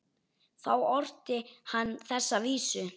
Þá orti hann þessa vísu